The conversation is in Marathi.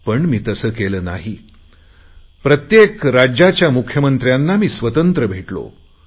पण मी तसे केले नाही प्रत्येक राज्याच्या मुख्यमंत्र्यांना मी स्वतंत्र भेटलो